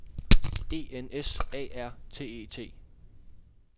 E N S A R T E T